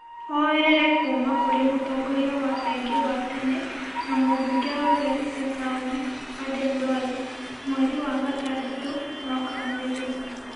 oerere kuuma kũrĩ mũtongoria wa aingĩ wa tene na mũmbunge wa Garissa Taũni , Aden Duale mweri wa gatandatũ mwaka mũhĩtũku.